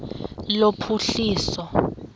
lophuhliso